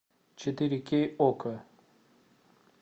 четыре кей окко